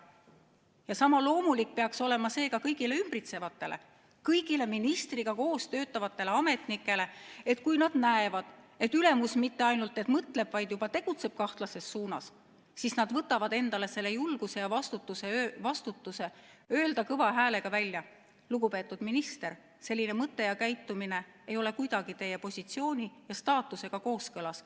" Ja sama loomulik peaks olema seega kõigile ümbritsevatele, kõigile ministriga koos töötavatele ametnikele: kui nad näevad, et ülemus mitte ainult ei mõtle, vaid ka tegutseb kahtlases suunas, siis nad võtavad endale selle julguse ja vastutuse, et öelda kõva häälega välja: "Lugupeetud minister, selline mõte ja käitumine ei ole kuidagi teie positsiooni ja staatusega kooskõlas.